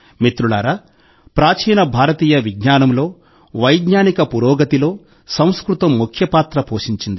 మిత్రులారా ప్రాచీన భారతీయ విజ్ఞానంలో వైజ్ఞానిక పురోగతిలో సంస్కృతం ముఖ్య పాత్ర పోషించింది